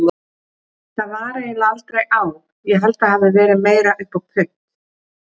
Það var eiginlega aldrei á, ég held það hafi verið meira upp á punt.